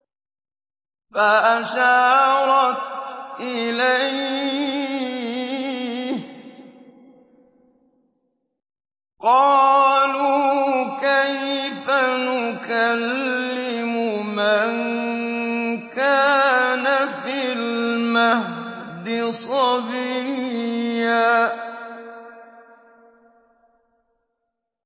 فَأَشَارَتْ إِلَيْهِ ۖ قَالُوا كَيْفَ نُكَلِّمُ مَن كَانَ فِي الْمَهْدِ صَبِيًّا